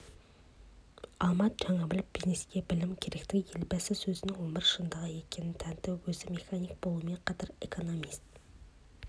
алмат жанәбілов бизнеске білім керектігін елбасы сөзінің өмір шындығы екеніне тәнті өзі механик болумен қатар экономист